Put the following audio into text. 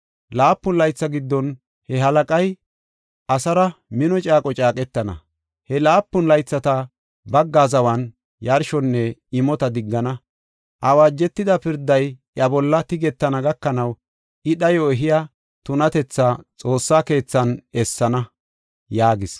Laapun laytha giddon, he halaqay asaara mino caaqo caaqetana. He laapun laythata bagga zawan yarshonne imota diggana. Awaajetida pirday, iya bolla tigetana gakanaw, I dhayo ehiya tunatethaa xoossa keethan essana” yaagis.